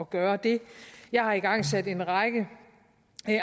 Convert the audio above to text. gøre det jeg har igangsat en række